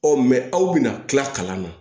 aw bɛna tila kalan na